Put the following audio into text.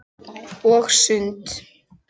Og sund.